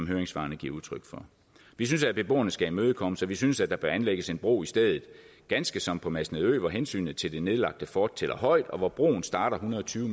høringssvarene giver udtryk for vi synes at beboerne skal imødekommes og vi synes at der bør anlægges en bro i stedet ganske som på masnedø hvor hensynet til det nedlagte fort tæller højt og hvor broen starter en hundrede og tyve